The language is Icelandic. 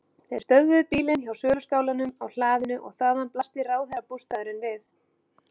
Þeir stöðvuðu bílinn hjá söluskálanum á hlaðinu og þaðan blasti ráðherrabústaðurinn við.